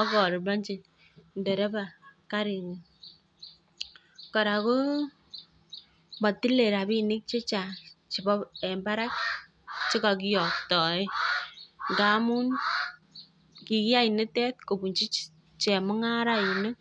ak aliponchi ndereba karinyi. Kora ko matilei rapinik chechan'g en barak che kakiyoktoe ndamun kikiyai nitok kopunchi chemung'arainik.